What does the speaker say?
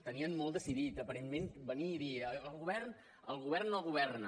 tenien molt decidit aparentment venir i dir el govern no governa